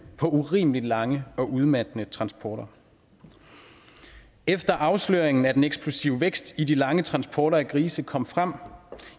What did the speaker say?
på urimeligt lange og udmattende transporter efter at afsløringen af den eksplosive vækst i de lange transporter af grise kom frem